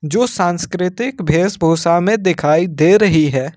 जो सांस्कृतिक भेष भूषा में दिखाई दे रही है।